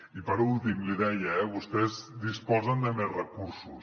i per últim li deia eh vostès disposen de més recursos